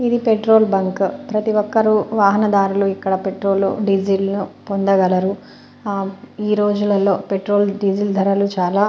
ఇది petrol bunk ప్రతి ఒక్కరు వాహనదారులు ఇక్కడ పెట్రోలు డీజిల్ పొందగలరు ఈరోజులలో పెట్రోల్ డీజిల్ ధరలు చాలా --